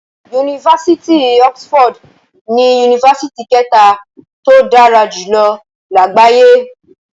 Yunifásitì Oxford ni Yunifásitì kẹta tó dára jùlọ lágbàáyé.